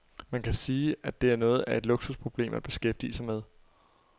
Man kan sige, at det er noget af et luksusproblem at beskæftige sig med.